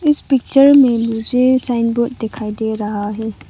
इस पिक्चर मे मुझे साइन बोर्ड दिखाई दे रहा है।